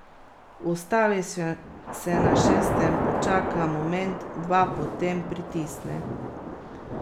Ustavi se na šestem, počaka moment, dva, potem pritisne.